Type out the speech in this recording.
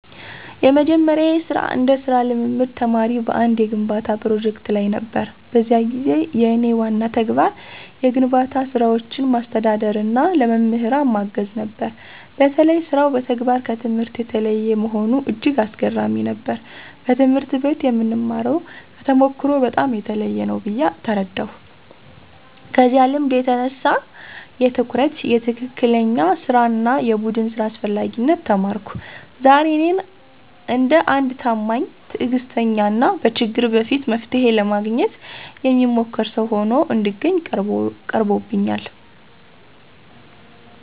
የመጀመሪያዬ ስራ እንደ ሥራ ልምምድ ተማሪ በአንድ የግንባታ ፕሮጀክት ላይ ነበር። በዚያ ጊዜ የእኔ ዋና ተግባር የግንባታ ስራዎችን ማስተዳደርና ለመምህራን ማገዝ ነበር። በተለይ ሥራው በተግባር ከትምህርት የተለየ መሆኑ እጅግ አስገራሚ ነበር፤ በትምህርት ቤት የምንማርው ከተሞክሮ በጣም የተለየ ነው ብዬ ተረዳሁ። ከዚያ ልምድ የተነሳ የትኩረት፣ የትክክለኛ ሥራ እና የቡድን ሥራ አስፈላጊነት ተማርኩ። ዛሬ እኔን እንደ አንድ ታማኝ፣ ትዕግስተኛ እና በችግር በፊት መፍትሔ ለማግኘት የሚሞክር ሰው ሆኖ እንድገኝ ቀርቦብኛል።